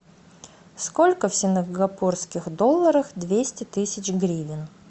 сколько в сингапурских долларах двести тысяч гривен